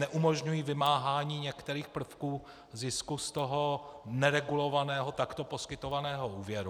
Neumožňují vymáhání některých prvků zisku z toho neregulovaného takto poskytovaného úvěru.